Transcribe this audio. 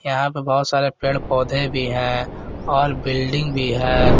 यहां पे बहुत सारे पेड़ पौधे भी हैं और बिल्डिंग भी है।